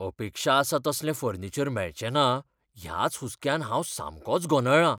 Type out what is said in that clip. अपेक्षा आसा तसलें फर्निचर मेळचें ना ह्याच हुस्क्यान हांव सामकोच गोंदळ्ळां.